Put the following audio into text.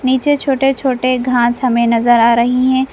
पीछे छोटे छोटे घास हमें नजर आ रही हैं।